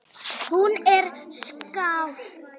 Hún er skáld.